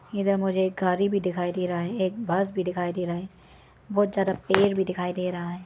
इधर मुझे एक गाड़ी भी दिखाई दे रहा है एक बस भी दिखाई दे रहा है बहुत ज्यादा पेड़ भी दिखाई दे रहा है।